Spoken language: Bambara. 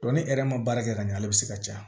ni yɛrɛ ma baara kɛ ka ɲɛ ale be se ka caya